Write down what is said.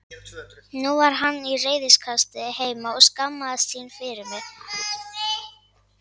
Nú var hann í reiðikasti heima og skammaðist sín fyrir mig.